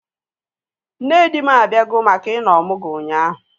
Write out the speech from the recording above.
Nne di m abịago maka ị nọ ọmụgwọ ụnyaahụ